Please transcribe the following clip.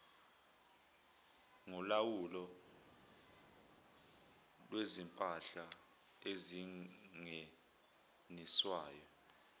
kolawulo lwezimpahla ezingeniswayo